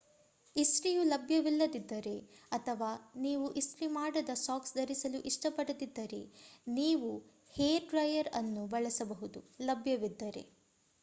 ಇಸ್ತ್ರಿಯು ಲಭ್ಯವಿಲ್ಲದಿದ್ದರೆ ಅಥವಾ ನೀವು ಇಸ್ತ್ರಿ ಮಾಡದ ಸಾಕ್ಸ್ ಧರಿಸಲು ಇಷ್ಟಪಡದಿದ್ದರೆ ನೀವು ಹೇರ್ ಡ್ರೈಯರ್ ಅನ್ನು ಬಳಸಬಹುದು ಲಭ್ಯವಿದ್ದರೆ